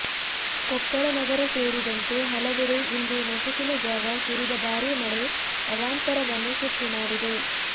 ಕೊಪ್ಪಳ ನಗರ ಸೇರಿದಂತೆ ಹಲವೆಡೆ ಇಂದು ನಸುಕಿನ ಜಾವ ಸುರಿದ ಬಾರಿ ಮಳೆ ಅವಾಂತರವನ್ನು ಸೃಷ್ಟಿ ಮಾಡಿದೆ